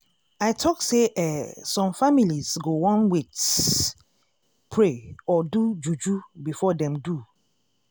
i talk say eeh some families go wan wait- pray or do juju before dem do